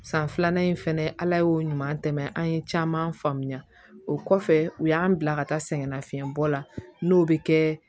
San filanan in fɛnɛ ala y'o ɲuman tɛmɛ an ye caman faamuya o kɔfɛ u y'an bila ka taa sɛgɛnnafiɲɛnbɔ la n'o bɛ kɛ